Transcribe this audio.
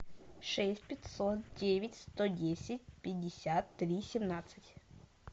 шесть пятьсот девять сто десять пятьдесят три семнадцать